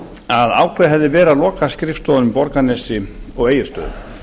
að ákveðið hefði verið að loka skrifstofunum í borgarnesi og á egilsstöðum